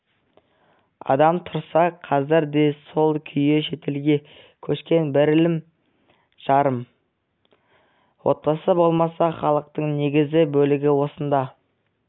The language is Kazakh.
адам тұрса қазір де сол күйі шетелге көшкен бірлі-жарым отбасы болмаса халықтың негізгі бөлігі осында